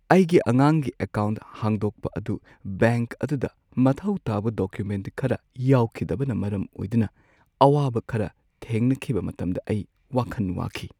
ꯑꯩꯒꯤ ꯑꯉꯥꯡꯒꯤ ꯑꯦꯀꯥꯎꯟꯠ ꯍꯥꯡꯗꯣꯛꯄ ꯑꯗꯨ ꯕꯦꯡꯛ ꯑꯗꯨꯗ ꯃꯊꯧ ꯇꯥꯕ ꯗꯣꯀꯨꯃꯦꯟꯠ ꯈꯔ ꯌꯥꯎꯈꯤꯗꯕꯅ ꯃꯔꯝ ꯑꯣꯏꯗꯨꯅ ꯑꯋꯥꯕ ꯈꯔ ꯊꯦꯡꯅꯈꯤꯕ ꯃꯇꯝꯗ ꯑꯩ ꯋꯥꯈꯜ ꯋꯥꯈꯤ꯫